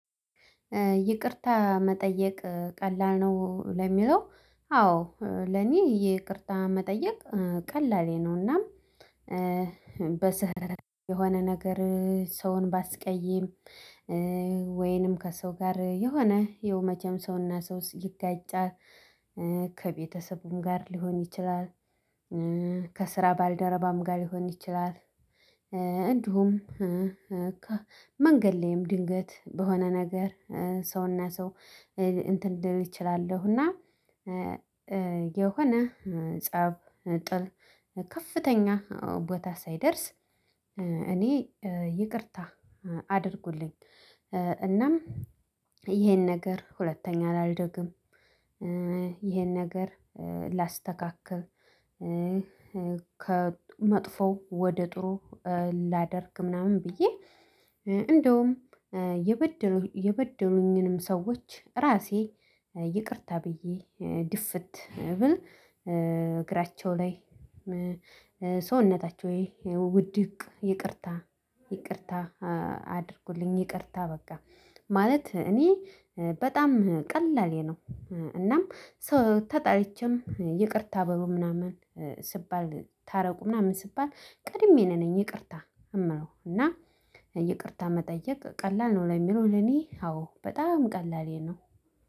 ይቅርታ መጠየቅ ቀላል ነው ለሚለው? አዎ ለኔ ይቅርታ መጠየቅ ቀላል ነውና በስህር የሆነ ነገር ሰውን ባስቀይም ወይንም ከሰው ጋር የሆነ ያው መቼም ሰውና ሰው ይጋጫል ከቤተሰቡም ጋር ሊሆን ይችላል ከስራ ባልደረባም ጋር ሊሆን ይችላል። እንዲሁም መንገድ ላይም ድንገት በሆነ ነገር ሰውና ሰው እንትን ድል እችላለሁ እና የሆነ ፀብ ጥል ከፍተኛ ቦታ ሳይደርስ እኔ ይቅርታ አድርጉልኝ እናም ይሄን ነገር ሁለተኛ አልደግም። ነገር ላስተካክል ከመጥፎው ወደ ጥሩ ላደርግ ምናምን ብዬ እንደውም የበደሉኝንም ሰዎች ራሴ ይቅርታ ብዬ ድፍት ብል እግራቸው ላይ ሰውነታቸው ይሄ ውድቅ ይቅርታ ይቅርታ ይቅርታ በቃ ማለት እኔ በጣም ቀላሌ ነው እናም ሰው ታጣልቼም ይቅርታ በሙሉ ምናምን ስባል ታረቁ ምናምን ስባል ቀድሜ ነኝ ይቅርታ እመለው። እና ይቅርታ መጠየቅ ቀላል ነው ለሚለው ለኔ አዎ በጣም ቀላሌ ነው።